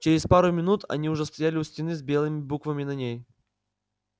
через пару минут они уже стояли у стены с белыми буквами на ней